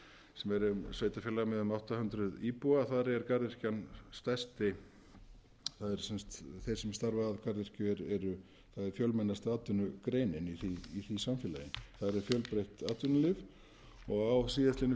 sem er sveitarfélag eða um átta hundruð íbúa þar er garðyrkjan stærsti þar eru þeir sem starfa að garðyrkju eru fjölmennasta atvinnugreinin í því samfélagi þar er fjölbreytt atvinnulíf og á síðastliðnum